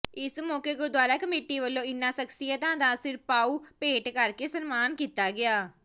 ਇਸ ਮੌਕੇ ਗੁਰਦੁਆਰਾ ਕਮੇਟੀ ਵੱਲੋਂ ਇਨ੍ਹਾਂ ਸ਼ਖ਼ਸੀਅਤਾਂ ਦਾ ਸਿਰਪਾਓ ਭੇਟ ਕਰਕੇ ਸਨਮਾਨ ਕੀਤਾ ਗਿਆ